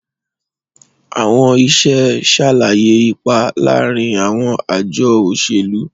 Àwọn iṣẹ́ ṣàlàyé ipa láàárín àwọn àjọ òṣèlú.